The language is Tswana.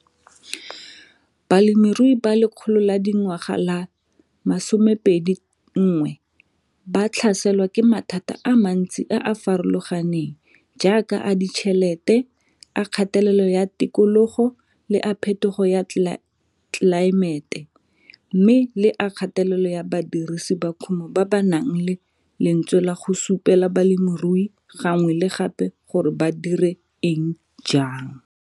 Balemirui ba Lekgolo la dingwaga la 21 ba tlhaselwa ke mathata a mantsi a a farologaneng jaaka a ditšhelete, a kgatelelo ya tikologo le a phetogo ya tlelaemete mme le a kgatelelo ya badirisi ba kumo ba ba nang le lentswe la go supela balemirui gangwe le gape gore ba dire eng jang.